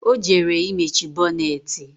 Ọ jere imechi bonneti